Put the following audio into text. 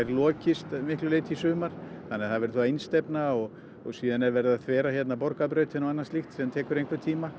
lokist að miklu leyti í sumar þannig að það verður einstefna og síðan er verið að þvera hérna Borgarbrautina og annað slíkt sem tekur einhvern tíma